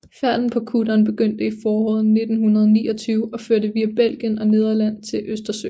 Færden på kutteren begyndte i foråret 1929 og førte via Belgien og Nederland til Østersøen